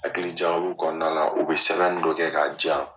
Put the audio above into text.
Hakilijagabo kɔnɔna la u bɛ sanganin dɔ kɛ k'a jan